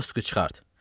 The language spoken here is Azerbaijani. Qastuku çıxart!